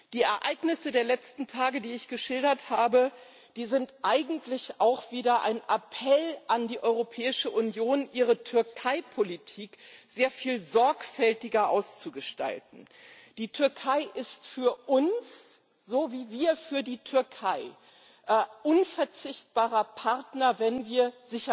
Die Ereignisse der letzten Tage, die ich geschildert habe, sind eigentlich auch wieder ein Appell an die Europäische Union, ihre Türkeipolitik sehr viel sorgfältiger auszugestalten. Die Türkei ist für uns so wie wir für die Türkei unverzichtbarer Partner, wenn wir